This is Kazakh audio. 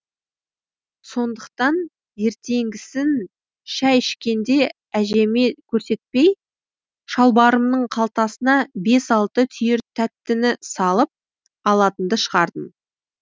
сондықтан ертеңгісін шай ішкенде әжеме көрсетпей шалбарымның қалтасына бес алты түйір тәттіні салып алатынды шығардым